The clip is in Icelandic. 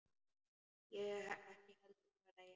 Ég ekki heldur, svaraði ég.